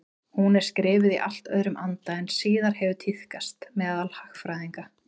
Hún er skrifuð í allt öðrum anda en síðar hefur tíðkast meðal hagfræðinga.